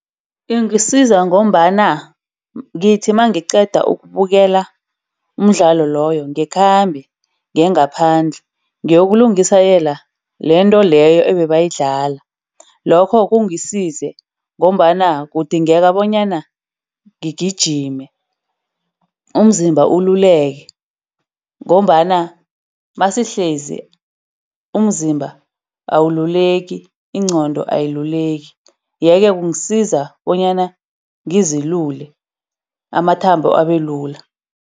Ingisiza ngombana ngithi mangiqeda ukubukela umdlalo loyo ngikhambe ngiyengaphandle, ngiyokulungisela lento leyo ebebayidlala. Lokho kungisize ngombana kudingeka bonyana gijime. Umzimba ululeke ngombana masihlezi umzimba awululeki. Ingqondo ayiluleki. Yeke kungisiza bonyana ngizilule, amathambo abelula.